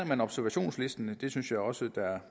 man observationslisten det synes jeg også